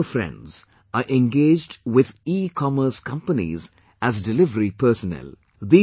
Many of our friends are engaged with ecommerce companies as delivery personnel